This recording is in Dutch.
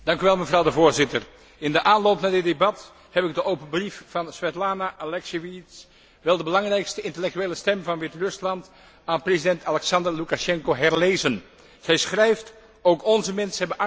In de aanloop naar dit debat heb ik de open brief van Svetlana Alexijevitsj, wel de belangrijkste intellectuele stem van Wit Rusland, aan president Alexander Loekasjenko herlezen. Zij schrijft ook onze mensen hebben angst voor de revolutie.